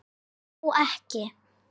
Þó ekki?